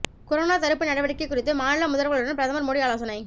corona தடுப்பு நடவடிக்கை குறித்து மாநில முதல்வர்களுடன் பிரதமர் மோடி ஆலோசனை